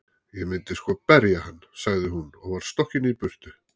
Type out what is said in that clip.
Ég myndi sko berja hann, sagði hún og var stokkin í burtu.